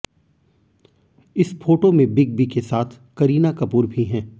इस फोटो में Big B के साथ करीना कपूर भी हैं